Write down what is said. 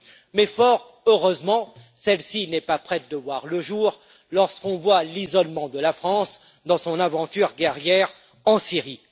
Mais, fort heureusement, celle ci n'est pas près de voir le jour lorsqu'on voit l'isolement de la France dans son aventure guerrière en Syrie.